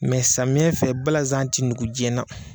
Mɛ samiyɛ fɛ balanzan ti nugu jiyɛna